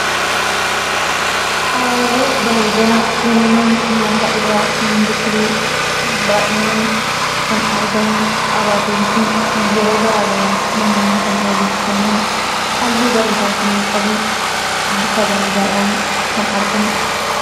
Abaaboo bareedaa uumamaan lafa irraa kan biqiluu baal'inaan kan argamu abaaboon kun yeroo garaa garaatti namoonni kan waliif kennan halluu bareedaa kan qabu bifa bareedaadhaan kan argamudha.